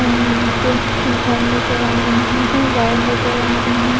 यहां यहां पे घर नजर आ रहे हैं वाइन नजर आ रहे--